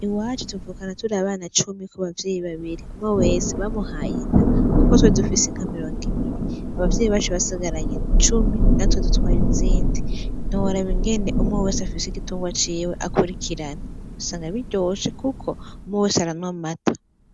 Iwacu tuvukana turi abana cumi ku bavyeyi babiri. Umwe wese bamuhaye inka kuko twe dufise inka mirongo ibiri. Abavyeyi bacu basigaranye cumi natwe dutwara izindi. Ntiworaba ingene umwe wese afise igitungwa ciwe akurikirana, usanga biryoshe kuko umwe wese aranwa amata.